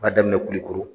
B'a daminɛ kulikoro